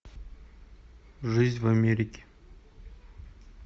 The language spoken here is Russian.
жизнь в америке